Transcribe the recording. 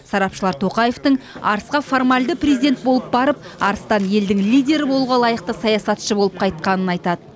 сарапшылар тоқаевтың арысқа формальды президент болып барып арыстан елдің лидері болуға лайықты саясатшы болып қайтқанын айтады